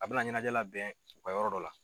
A bɛ na ɲɛnajɛ labɛn u ka yɔrɔ dɔ la.